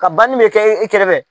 Ka banni bɛ kɛ e kɛrɛfɛ.